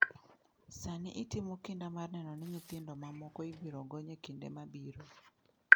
Sani itimo kinda mar neno ni nyithindo mamoko ibiro gony e kinde mabiro.